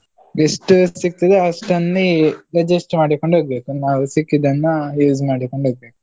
ಎಷ್ಟು ಸಿಗ್ತದೆ ಆಷ್ಟಲ್ಲಿ adjust ಮಾಡಿಕೊಂಡು ಹೋಗ್ಬೇಕು, ನಾವು ಸಿಕ್ಕಿದ್ದನ್ನ use ಮಾಡಿಕೊಂಡು ಹೋಗ್ಬೇಕು.